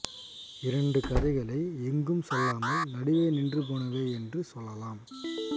இரண்டு கதைகளை எங்கும் செல்லாமல் நடுவே நின்று போனவை என்று சொல்லலாம்